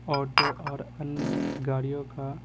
auto और अन्य गाड़ियों का--